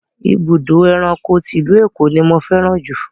Ibùdó ẹranko ti ìlú Èkó ni mo fẹ́ràn jù.